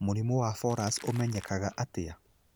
Mũrimũ wa Fowlers ũmenyekaga atĩa?